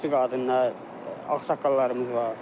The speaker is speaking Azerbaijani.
Yaşlı qadınlar, ağsaqqallarımız var.